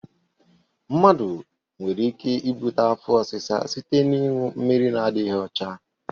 Mmadụ nwere ike ibute afọ ọsịsa site n'ịṅụ mmiri na-adịdghị ọcha.